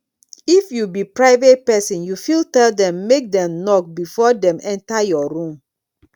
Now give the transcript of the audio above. if you be private person you fit tell dem make dem knock before dem enter your room